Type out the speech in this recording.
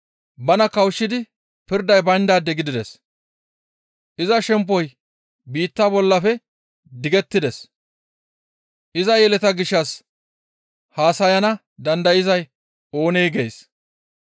Bana kawushshidi pirday bayndaade gidides. Iza shemppoy biitta bollafe digettides. Iza yeletaa gishshas haasayana dandayzay oonee?» gees.